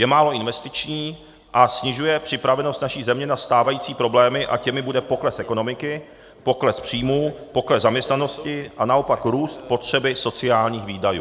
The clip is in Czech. Je málo investiční a snižuje připravenost naší země na stávající problémy, a těmi bude pokles ekonomiky, pokles příjmů, pokles zaměstnanosti a naopak růst potřeby sociálních výdajů.